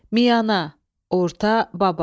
Miyana – orta, babat.